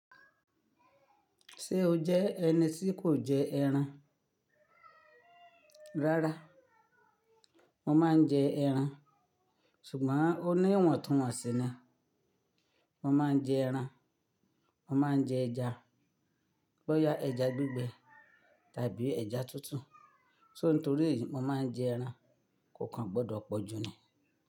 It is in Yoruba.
Ṣé o jẹ́ ẹni tí kò jẹ ẹran? Rárá, mo máa ń jẹ ẹran, ṣùgbọ́n ó ní ìwọ̀ntúnwọ̀nsì ni. Mo máa ń jẹ ẹran, mo máa ń jẹ ẹja, bóyá ẹja gbígbẹ tàbí ẹja tútù. Só nítorí èyí, mo máa ń jẹ ẹran kò kan gbọdọ̀ pọ̀jù ni.